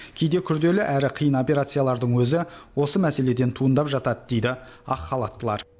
кейде күрделі әрі қиын операциялардың өзі осы мәселеден туындап жатады дейді ақ халаттылар